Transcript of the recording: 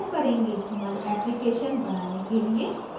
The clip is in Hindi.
हमारे एप्लिकेशन बनाने के लिए